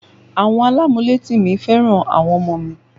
Àwọn alamuleti mi fẹ́ràn àwọn ọmọ mi